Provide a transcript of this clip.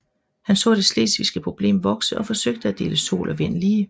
Han så det slesvigske problem vokse og forsøgte at dele sol og vind lige